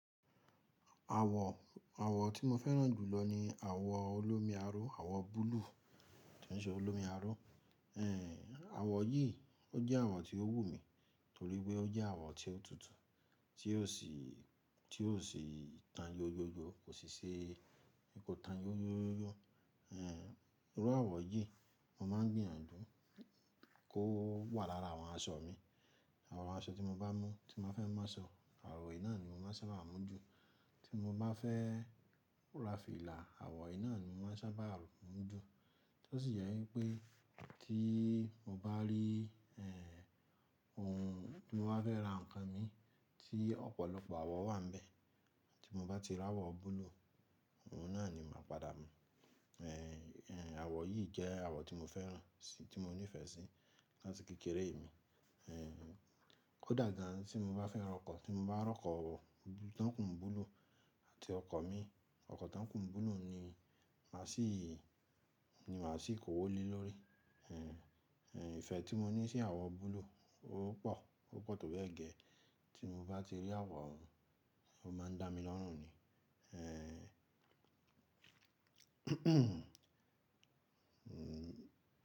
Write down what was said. Àwọ̀, àwọ̀ tí mo fẹ́ràn jù lọ ni àwọ̀ olómi aró, àwọ̀ búlúù tí e ń ṣe olómi aró. Ehn, àwọ̀ yìí ó jẹ́ àwọ̀ tí ó wù mí torí pé ó jẹ́ àwọ̀ tí ó tutù, tí ó sì, tí ó sì tan yó yó yó, kò sì ṣe kò tan yó yó yó yó. Ehn, irú àwọ̀ yìí mo máa ń gbìyànjú kó wà lára àwọn aṣọ mi. Àwọn aṣọ tí mo bá mú, tí n ba fẹ́ máa sọ, àwọ̀ yìí náà ni mo máa n sábà mú ju. Tí mo bá fẹ́ ra fìlà, àwọ̀ yìí náà ni mo máa sábà mú ju. Tọ sí jẹ wipé tí mo bá rí ehn, ohun tí mo bá fẹ́ ra nǹkan mi tí ọ̀pọ̀lọpọ̀ àwọ̀ wà n bẹ̀, tí mo bá ti rí àwọ̀ búlúù, ohun náà ni màá padà mú. Ehn, ehn, àwọ̀ yìí jẹ́ àwọ̀ tí mo fẹ́ràn sì, tí mo nífẹ̀ẹ́ sí láti kékeré mi. Ehn, kó dà gan tí mo bá fẹ́ rọkọ̀, tí mo bá rọkọ̀ tan kun búlúù àti ọkọ̀ mi, ọkọ̀ tan kun búlúù ni màá ṣìí, ni màá ṣìí kówó le lọ́rí. Ehn, ehn, ìfẹ́ tí mo ní sí àwọ̀ búlúù ó pọ̀, ó pọ̀ tó bẹ́ẹ̀ gẹ́ẹ́. Tí mo bá ti rí àwọ̀ òhun, ó máa ń dá mi lọ́rùn ni. Ehn, ehn.